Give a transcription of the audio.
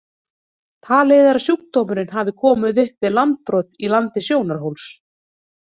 Talið er að sjúkdómurinn hafi komið upp við landbrot í landi Sjónarhóls.